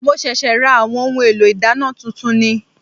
Mo ṣẹ̀ṣẹ̀ ra àwọn ohun èlò ìdáná tuntun ni